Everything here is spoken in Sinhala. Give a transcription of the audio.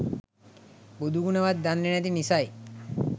බුදුගුණ වත් දන්නේ නැති නිසයි.